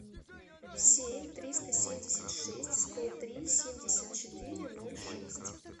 семь триста семьдесят шесть сто три семьдесят четыре ноль шесть